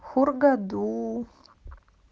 хургаду